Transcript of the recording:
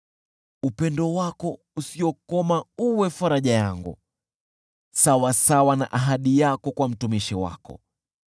Upendo wako usiokoma uwe faraja yangu, sawasawa na ahadi yako kwa mtumishi wako.